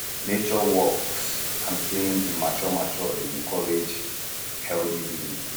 nature walks and staying in mature mature dey encourage um healthy living